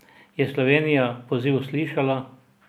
Je Slovenija poziv slišala?